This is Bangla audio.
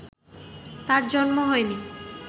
তাঁর জন্ম হয়নি